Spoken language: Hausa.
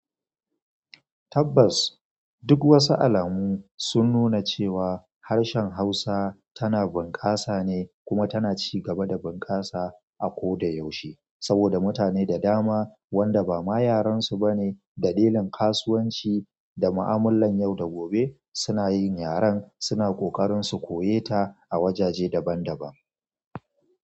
Tabbas. Duk wasu alamu sun nuna cewa harshen Hausa tana bunƙasa ne kuma tana ci gaba da bunƙasa a ko da yaushe. Saboda mutane da dama, wanda ba ma yarensu ba ne, dalilin kasuwanci da ma'amular yau da gobe suna yin yaren, suna ƙoƙarin su koye ta a wajaje daban-daban.